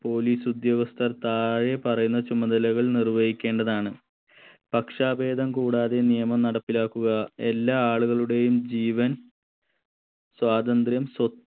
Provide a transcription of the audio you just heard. police ഉദ്യോഗസ്ഥർ താഴെ പറയുന്ന ചുമതലകൾ നിര്വഹിക്കേണ്ടതാണ് പക്ഷാഭേദം കൂടാതെ നിയമം നടപ്പിലാക്കുക എല്ലാ ആളുകളുടെയും ജീവൻ സ്വാതന്ത്ര്യം സ്വ